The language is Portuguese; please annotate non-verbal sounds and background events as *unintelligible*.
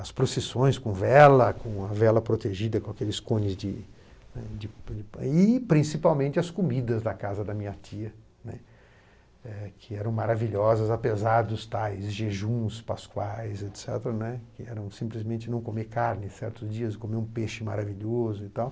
As procissões com vela, com a vela protegida, com aqueles cones de... *unintelligible* E, principalmente, as comidas da casa da minha tia, né, eh que eram maravilhosas, apesar dos tais jejuns pasquais, et cetera., que eram simplesmente não comer carne, certos dias comer um peixe maravilhoso e tal.